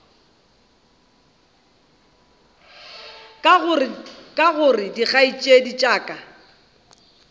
aka gore dikgaetšedi tša ka